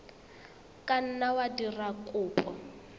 ka nna wa dira kopo